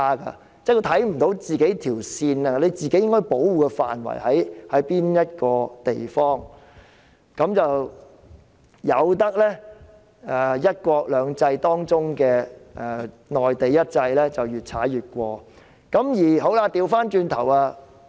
她看不到兩制間那條界線及自己應該保護的範圍在哪，任由"一國兩制"當中內地的"一制"越踩越近。